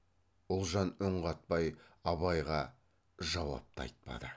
ұлжан үн қатпай абайға жауап та айтпады